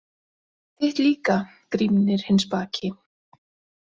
Þitt líka, Grímnir hinn spaki.